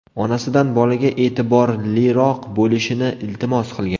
Onasidan bolaga e’tiborliroq bo‘lishini iltimos qilgan.